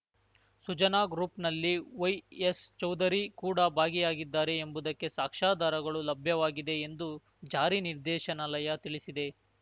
ಸುಜಾನಾ ಗ್ರೂಪ್‌ನಲ್ಲಿ ವೈಎಸ್‌ ಚೌಧರಿ ಕೂಡ ಭಾಗಿಯಾಗಿದ್ದಾರೆ ಎಂಬುದಕ್ಕೆ ಸಾಕ್ಷ್ಯಾಧಾರಗಳು ಲಭ್ಯವಾಗಿದೆ ಎಂದು ಜಾರಿ ನಿರ್ದೇಶನಾಲಯ ತಿಳಿಸಿದೆ